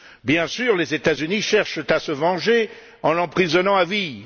Bien sûr, les États Unis cherchent à se venger en l'emprisonnant à vie.